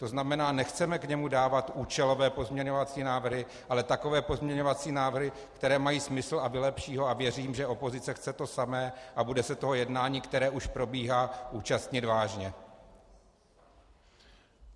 To znamená, nechceme k němu dávat účelové pozměňovací návrhy, ale takové pozměňovací návrhy, které mají smysl a vylepší ho, a věřím, že opozice chce to samé a bude se toho jednání, které už probíhá, účastnit vážně.